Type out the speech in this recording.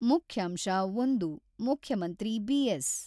ಮುಖ್ಯಾಂಶ-ಒಂದು ಮುಖ್ಯಮಂತ್ರಿ ಬಿ.ಎಸ್.